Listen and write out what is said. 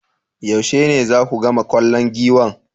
Yaushe ne zaku gama kallon Giwan?